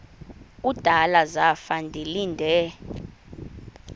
kudala zafa ndilinde